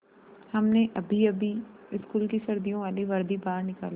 हमने अभीअभी स्कूल की सर्दियों वाली वर्दी बाहर निकाली है